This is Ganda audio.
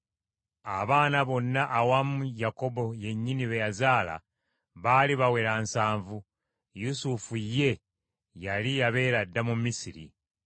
Abaana bonna awamu Yakobo yennyini be yazaala baali bawera nsanvu ; Yusufu ye, yali yabeera dda mu Misiri.